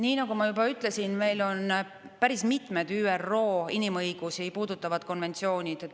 Nii nagu ma juba ütlesin, meil on päris mitmed ÜRO inimõigusi puudutavad konventsioonid.